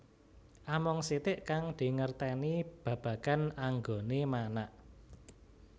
Amung sitik kang dingertèni babagan anggoné manak